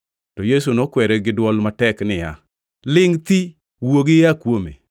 To Yesu nokwere gi dwol matek niya, “Lingʼ thi! Wuogi ia kuome!”